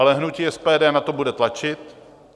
Ale hnutí SPD na to bude tlačit.